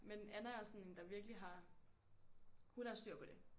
Men Anna er sådan en der virkelig har hun har styr på det